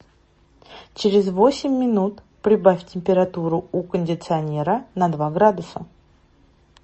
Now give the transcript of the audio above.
через восемь минут прибавь температуру у кондиционера на два градуса